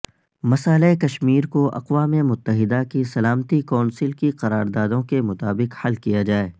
مسئلہ کشمیر کو اقوام متحدہ کی سلامتی کونسل کی قراردادوں کے مطابق حل کیا جائے